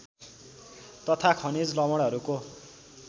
तथा खनिज लवणहरूको